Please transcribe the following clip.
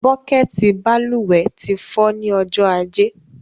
Búkẹ̀tì balùwẹ̀ ti fọ́ ní ọjọ́ ajé